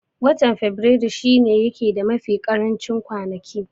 Watan faberaru shi ne yake da mafi karancin kwanaki